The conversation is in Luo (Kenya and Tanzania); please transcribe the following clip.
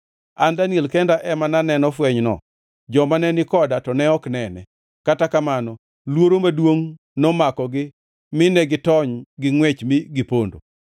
An Daniel kenda ema naneno fwenyno joma ne ni koda to ne ok onene, kata kamano luoro maduongʼ nomakogi mi negitony gi ngʼwech mi gipondo.